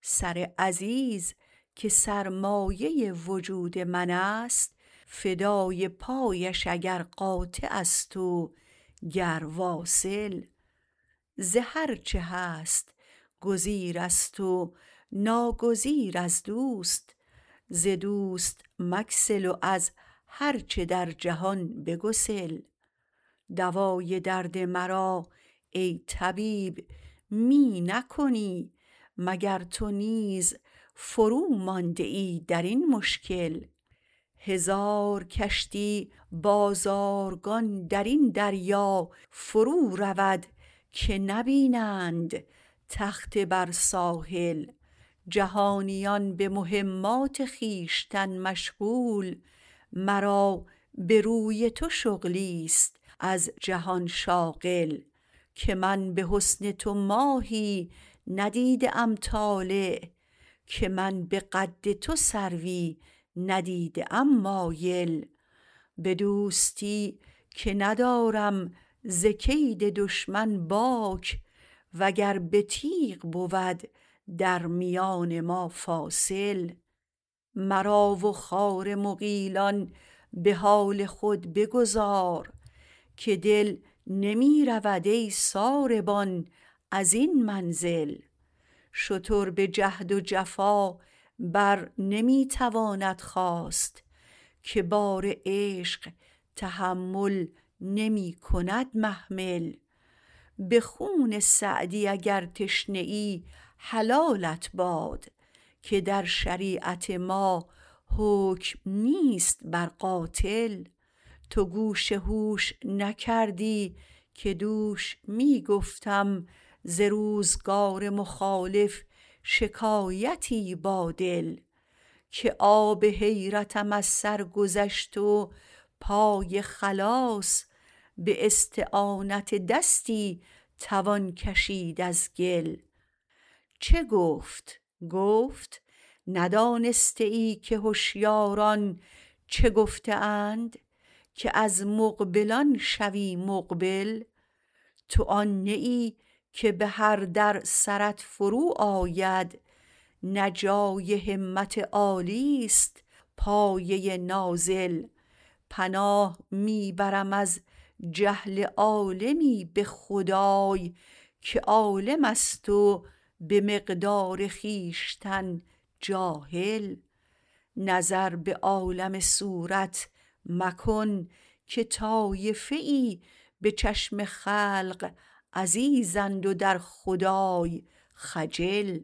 سر عزیز که سرمایه وجود منست فدای پایش اگر قاطعست وگر واصل ز هرچه هست گزیرست ناگزیر از دوست ز دوست مگسل و از هرچه در جهان بگسل دوای درد مرا ای طبیب می نکنی مگر تو نیز فرومانده ای در این مشکل هزار کشتی بازارگان درین دریا فرو رود که نبینند تخته بر ساحل جهانیان به مهمات خویشتن مشغول مرا به روی تو شغلیست از جهان شاغل که من به حسن تو ماهی ندیده ام طالع که من به قد تو سروی ندیده ام مایل به دوستی که ندارم ز کید دشمن باک وگر به تیغ بود در میان ما فاصل مرا و خار مغیلان به حال خود بگذار که دل نمی رود ای ساربان ازین منزل شتر به جهد و جفا برنمی تواند خاست که بار عشق تحمل نمی کند محمل به خون سعدی اگر تشنه ای حلالت باد که در شریعت ما حکم نیست بر قاتل تو گوش هوش نکردی که دوش می گفتم ز روزگار مخالف شکایتی با دل که آب حیرتم از سرگذشت و پای خلاص به استعانت دستی توان کشید از گل چه گفت گفت ندانسته ای که هشیاران چه گفته اند که از مقبلان شوی مقبل تو آن نه ای که به هر در سرت فرو آید نه جای همت عالیست پایه نازل پناه می برم از جهل عالمی به خدای که عالمست و به مقدار خویشتن جاهل نظر به عالم صورت مکن که طایفه ای به چشم خلق عزیزند و در خدای خجل